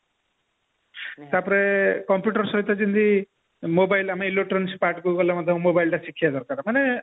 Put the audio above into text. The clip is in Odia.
ତା ପରେ computer ସହିତ ଯେମତି mobile ଆମେ electronics parts କୁ ଗଲେ ମଧ୍ୟ mobile ଟା ଶିଖିବା ଦରକାର